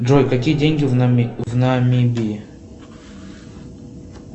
джой какие деньги в намибии